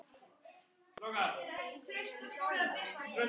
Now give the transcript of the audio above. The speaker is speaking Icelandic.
Þá fór allt af stað